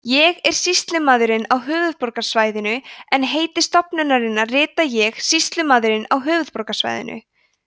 ég er sýslumaðurinn á höfuðborgarsvæðinu en heiti stofnunarinnar rita ég sýslumaðurinn á höfuðborgarsvæðinu